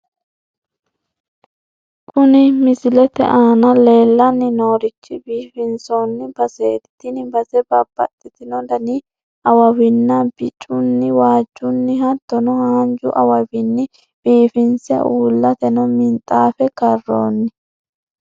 Kuni misilete aana leellanni noorichi biifinsoonni baseeti, tini base babbaxino dani awawinni bicunni, waajjunni, hattono haanju awawinni biifinse uullateno minxaafe karroonni.